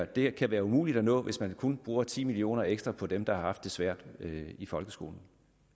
det kan være umuligt at nå hvis man kun bruger ti million kroner ekstra på dem der har haft det svært i folkeskolen